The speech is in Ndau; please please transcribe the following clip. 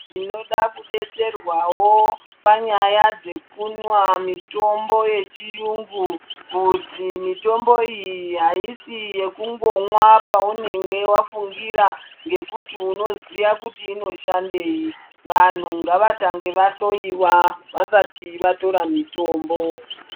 Tinoda kudetserwawo panyaya dzekunwa mitombo yechiyungu kuti mitombo iyi haisi yekungomwa paunenge wafungira ngekuti unoziya kuti inoshandei. Vanhu ngavatange vahloyiwa vasati vatora mitombo.